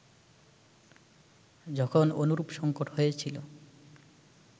যখন অনুরূপ সঙ্কট হয়েছিল